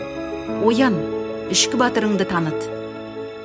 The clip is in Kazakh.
оян ішкі батырыңды таныт